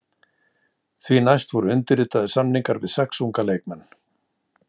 Því næst voru undirritaðir samningar við sex unga leikmenn.